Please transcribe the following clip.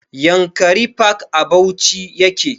Yankari park a bauchi yake